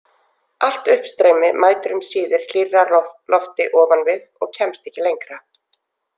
Allt uppstreymi mætir um síðir hlýrra lofti ofan við og kemst ekki lengra.